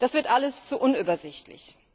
Das wird alles zu unübersichtlich.